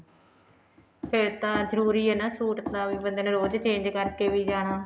ਫੇਰ ਤਾਂ ਜਰੂਰੀ ਐ ਨਾ suit ਤਾਵੀਂ ਬੰਦੇ ਨੇ ਰੋਜ਼ change ਕਰਕੇ ਵੀ ਜਾਣਾ